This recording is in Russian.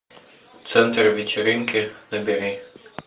центр вечеринки набери